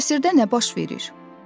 Qəsrdə nə baş verir?